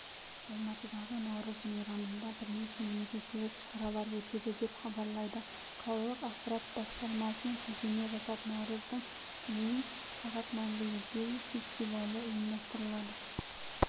алматыдағы наурыз мейрамында бірнеше мерекелік шаралар өтеді деп хабарлайды қалалық мәдениет басқармасына сілтеме жасап наурыздың дейін сағат мәнгілік ел фестивалі ұйымдастырылады